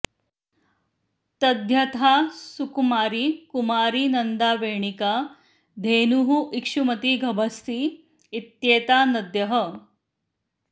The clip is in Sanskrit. तद्यथा सुकुमारी कुमारी नन्दा वेणिका धेनुः इक्षुमती गभस्ति इत्येता नद्यः